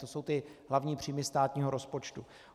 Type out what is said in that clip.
To jsou ty hlavní příjmy státního rozpočtu.